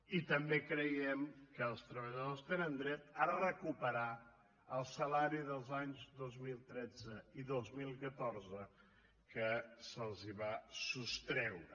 i també creiem que els treballadors tenen dret a recuperar el salari dels anys dos mil tretze i dos mil catorze que se’ls va sostreure